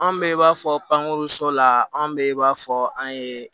An bɛɛ b'a fɔ bankuru so la an bɛɛ b'a fɔ an ye